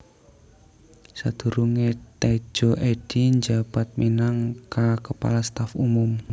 Sadurunge Tedjo Edhy njabat minang kaKepala Staf Umum